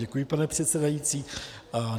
Děkuji, pane předsedající.